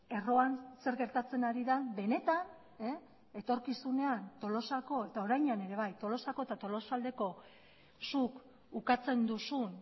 erroan zer gertatzen ari den benetan etorkizunean tolosako eta orainean ere bai tolosako eta tolosaldeko zuk ukatzen duzun